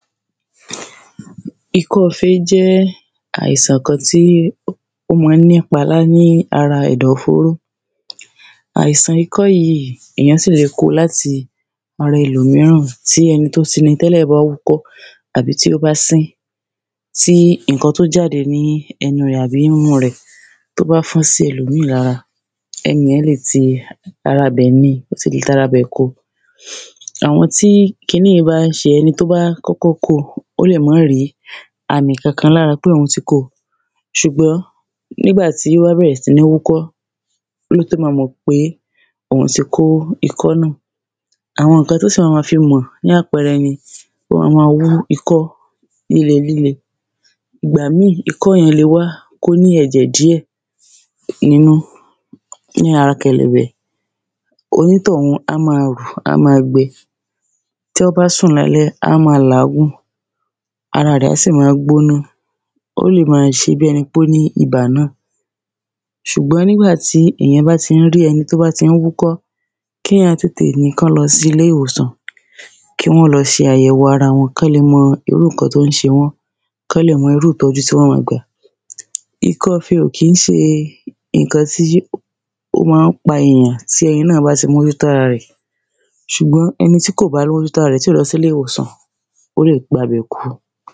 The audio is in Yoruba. Ikọ́ fe jé àìsàn kan tí ó má ń ní pa lá ní ara ẹ̀dọ̀ fóró Àìsàn ikọ́ yìí èyàn sì lè koo láti ara ẹlòmíràn tí ẹni tó ti ni tẹ́lẹ̀ bá wúkọ́ tàbí tí ó bá sín tí nǹkan tí ó jáde ní ẹnu rẹ̀ àbí imú rẹ̀ tó bá fán sí ẹ̀lòmíràn lára ẹniyẹn sì lè ti ara ibẹ̀ ni ó sì lè tara bẹ̀ koo Àwọn tí kiní yìí bá ń ṣe ẹni tó bá kọ́kọ́ koo ó lè má rí àmì kankan lára pé òhun ti kó ṣùgbọ́n nígbà tí ó bá bẹ̀rẹ̀ sí ní wúkọ́ lótó ma mọ̀ pé òhun ti kó ikọ́ náà Àwọn nǹkan tí ó sì ma ma fi mọ̀ ni àpẹẹre ni ó ma ma wú ikọ́ líle líle Ìgbà míì ikọ́ yẹn le wá kó ní ẹ̀jẹ̀ díẹ̀ nínú n ha kẹ̀lẹ̀bẹ̀ Onítọ̀hún á ma rù á ma gbẹ Tí wọ́n bá sùn lálẹ́ á ma làágùn Ara rẹ̀ á sì ma gbóná Ó lè ma ṣe bíi ẹni pé ó ní ibà náà Ṣùgbọ́n nígbà tí èyàn bá ti ń rí ẹni tí ó bá ń wúkọ́ kéyàn tètè ní kán lọ sí ilé ìwòsàn kí wọ́n lọ ṣe àyẹ̀wò ara wọn kán lè mọ irú nǹkan tó ṣe wón kán lè mọ irú ìtọ́jú tí wọ́n ma gbà Ikọ́ fe ò kí ń ṣe nǹkan tí ó má ń pa èyàn tí ẹni náà bá ti mójú tó ara rẹ̀ ṣùgbọ́n ẹni tí kò bá rówó mójú tó ara rẹ̀ tí ò lọ sí ilé ìwòsàn ó lè gba bẹ̀ kú